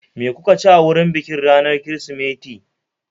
Me kuka ci a wurin bikin ranar Kirsimeti?